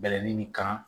Bɛlɛnin ni kan